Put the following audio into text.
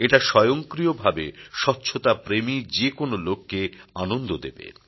এটা স্বয়ংক্রিয়ভাবে স্বচ্ছতাপ্রেমী যেকোন লোককে আনন্দ দেবে